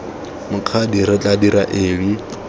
mokgadi re tla dira eng